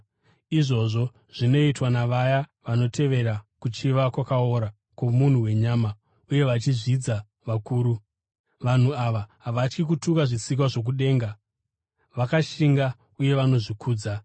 Izvozvo zvinoitwa navaya vanotevera kuchiva kwakaora kwomunhu wenyama uye vachizvidza vakuru. Vanhu ava havatyi kutuka zvisikwa zvokudenga, vakashinga uye vanozvikudza;